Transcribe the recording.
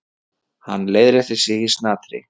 Hann leiðrétti sig í snatri.